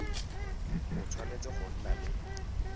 o tshwanetse go nna le